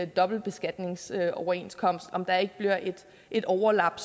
dobbeltbeskatningsoverenskomster om der ikke bliver et overlap